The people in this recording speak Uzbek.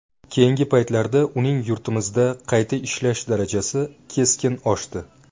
Keyingi paytlarda uning yurtimizda qayta ishlash darajasi keskin oshdi.